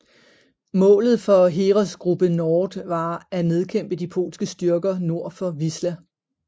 Målet for Heeresgruppe Nord var at nedkæmpe de polske styrker nord for Wisła